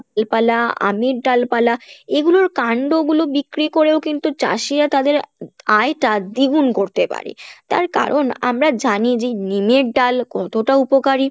আমের ডালপালা এগুলোর কাণ্ড গুলো বিক্রি করেও কিন্তু চাষীরা তাদের আয় টা দ্বিগুণ করতে পারে, তার কারন আমরা জানি যে নিমের ডাল কতটা উপকারী